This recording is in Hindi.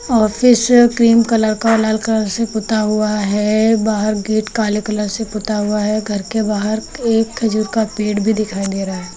ऑफिस क्रीम कलर का लाल कलर से पुता हुआ है बाहर गेट काले कलर से पुता हुआ है घर के बाहर एक खजूर का पेड़ भी दिखाई दे रहा है।